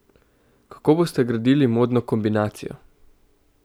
Kako boste gradili modno kombinacijo?